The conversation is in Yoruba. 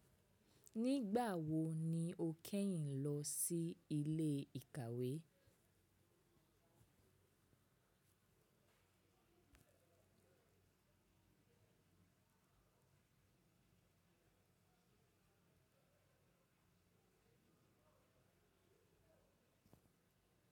Nígbà wo ni o kẹ́yìn lọ sí ilé ìkàwé?